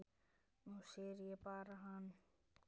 Nú syrgjum við hana.